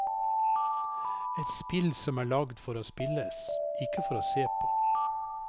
Et spill som er lagd for å spilles, ikke for å se på.